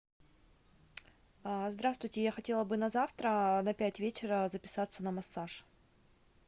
здравствуйте я хотела бы на завтра на пять вечера записаться на массаж